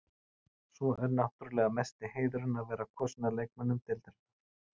Svo er náttúrulega mesti heiðurinn að vera kosinn af leikmönnum deildarinnar.